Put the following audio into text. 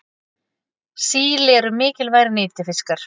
síli eru mikilvægir nytjafiskar